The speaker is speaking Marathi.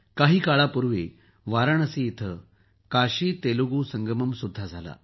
काही काळापूर्वी वाराणसी येथे काशीतेलुगु संगम सुद्धा झाला